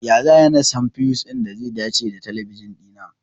Ya za'ayi na san fiyus ɗin da ze dace da talabijin ɗina?